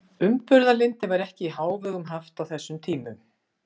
Umburðarlyndi var ekki í hávegum haft á þessum tímum.